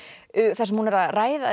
þar sem hún er að